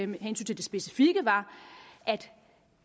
med hensyn til det specifikke var at